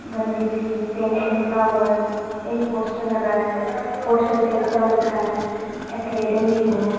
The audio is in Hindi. गंदी सी पेंट निकला हुआ है एक पोस्टर लगा है पोस्टर पे एकता लिखा है एकेडमी है।